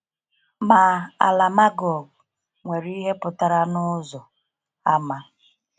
Ma, ‘ala Magog’ nwere ihe pụtara n’ụzọ àmà.